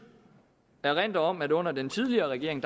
erindre om at under den tidligere regering